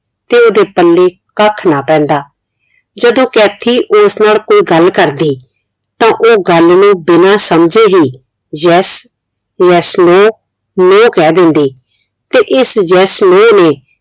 ਤੇ ਉਹਦੇ ਪੱਲੇ ਕੱਖ ਨਾ ਪੈਂਦਾ ਜਦੋ ਕੈਥੀ ਉਸ ਨਾਲ ਕੋਈ ਗੱਲ ਕਰਦੀ ਤਾਂ ਉਹ ਗੱਲ ਨੂੰ ਬਿਨਾ ਸਮਝੇ ਹੀ yes yes no no ਕਹਿ ਦਿੰਦੀ ਤੇ ਇਸ yes no ਨੇ